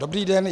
Dobrý den.